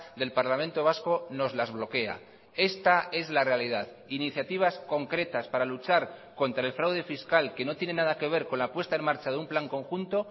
del parlamento vasco nos las bloquea esta es la realidad iniciativas concretas para luchar contra el fraude fiscal que no tiene nada que ver con la puesta en marcha de un plan conjunto